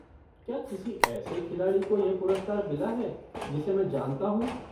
क्या किसी ऐसे खिलाड़ी को यह पुरस्कार मिला है जिसे मैं जानता हूँ?